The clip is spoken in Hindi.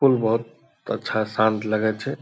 फूल बहुत अच्छा शांत लगै छे।